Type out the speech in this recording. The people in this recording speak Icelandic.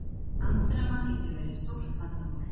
Andremma getur verið stórt vandamál.